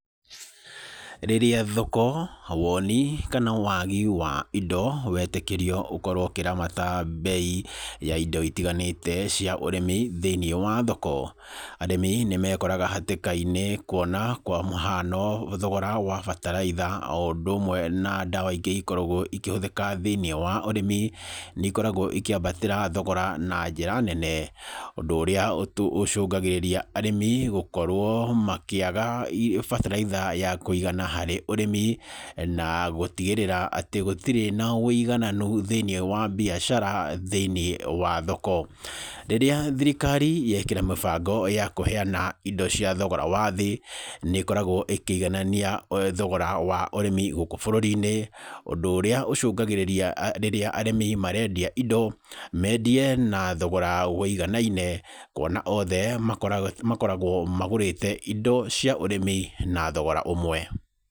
Rĩrĩa thoko, wonĩ, kana wagi wa indo wetĩkĩrio ũkorwo ũkĩramata mbei ya indo itiganĩte cia ũrĩmi thĩiniĩ wa thoko, arĩmi nĩ mekoraga hatĩka-inĩ kũona kwa mũhano, thogora wa bataraitha, o ũndũ ũmwe na ndawa ingĩ ikoragwo ikĩhũthĩka thĩiniĩ wa ũrĩmi nĩ ikoragwo ikĩambatĩra thogora na njĩra nene. Ũndũ ũrĩa ũcungagĩrĩria arĩmi gũkorwo makĩaga bataraitha ya kũigana harĩ ũrĩmi na gũtigĩrĩra atĩ gũtirĩ na wũigananu thĩiniĩ wa biacara, thĩiniĩ wa thoko. Rĩrĩa thirikari yekĩra mĩbango ya kũheana indo cia thogora wa thĩ, nĩ ĩkoragwo ĩkĩiganania thogora wa ũrĩmi gũkũ burũri-inĩ. Ũndũ ũrĩa ũcungagĩrĩria rĩrĩa arĩmi marendia indo mendie na thogora wũiganaine, kũona othe makoragwo magũrĩte indo cia ũrĩmi na thogora ũmwe.